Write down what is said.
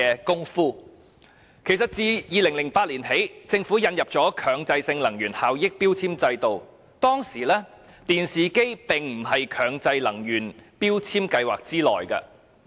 政府自2008年開始引入強制性標籤計劃，但當時電視機並不在計劃內。